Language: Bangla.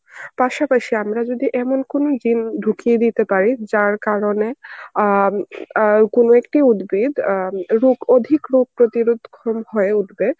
পাশাপাশি আমরা যদি এমন কোন gene ঢুকিয়ে দিতে পারি যার কারণে অ্যাঁ অ্যাঁ কোন একটি উদ্ভিদ অ্যাঁ এবং অধিক রোগ প্রতিরোধ খম হয়ে উঠবে